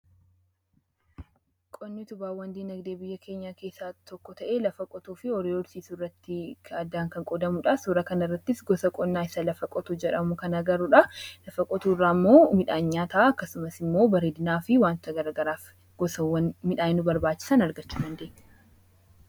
Qonni utubawwan diinagdee biyya keenya keessaa tokko ta'e lafa qotuu fi horii horsiisu irratti kan qodamuudha. Suura kana irrattis gosa qonnaa isa lafa qotu jedhamu kan agaruudha. Lafa qotuu irraa immoo midhaan nyaataa akkasumas immoo bareedinaa fi wanta garagaraaf gosawwan midhaani nu barbaachisan argachuu dandenya.